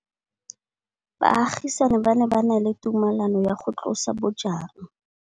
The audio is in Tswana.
Baagisani ba ne ba na le tumalanô ya go tlosa bojang.